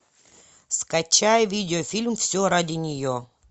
скачай видеофильм все ради нее